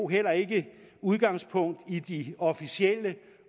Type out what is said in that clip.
heller ikke udgangspunkt i de officielle